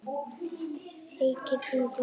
Feykir vindurinn mér.